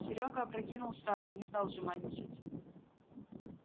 серёга опрокинул сразу не стал жеманничать